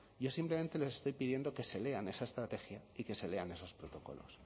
yo simplemente les estoy pidiendo que se lean esa estrategia y que se lean esos protocolos